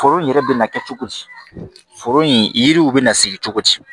Foro in yɛrɛ bɛ na kɛ cogo di foro in yiriw bɛ na sigi cogo di